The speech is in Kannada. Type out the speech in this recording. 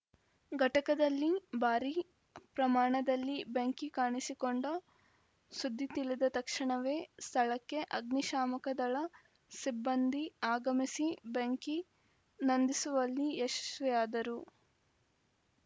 ಘಟಕದಲ್ಲಿ ಭಾರಿ ಪ್ರಮಾಣದಲ್ಲಿ ಬೆಂಕಿ ಕಾಣಿಸಿಕೊಂಡ ಸುದ್ದಿ ತಿಳಿದ ತಕ್ಷಣವೇ ಸ್ಥಳಕ್ಕೆ ಆಗ್ನಿಶಾಮಕ ದಳ ಸಿಬ್ಬಂದಿ ಆಗಮಿಸಿ ಬೆಂಕಿ ನಂದಿಸುವಲ್ಲಿ ಯಶಶ್ವಿಆದರು